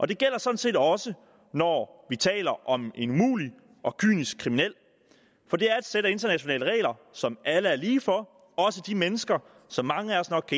det gælder sådan set også når vi taler om en umulig og kynisk kriminel for det er et sæt af internationale regler som alle er lige for også de mennesker som mange af os nok